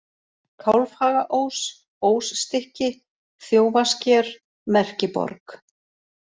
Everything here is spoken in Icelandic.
Kálfhagaós, Ósstykki, Þjófasker, Merkiborg